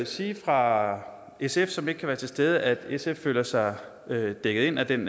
sige fra sf som ikke kan være til stede at sf føler sig dækket ind af den